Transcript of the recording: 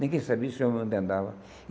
Ninguém sabia se o homem ainda andava.